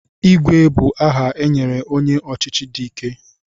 Igwe bụ aha e nyere onye ọchịchị dị ike.